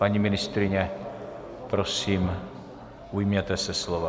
Paní ministryně, prosím, ujměte se slova.